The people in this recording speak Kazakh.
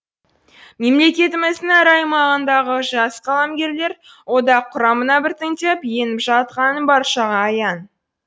мемлекетіміздің әр аймағындағы жас қаламгерлер одақ құрамына біртіндеп еніп жатқаны баршаға аян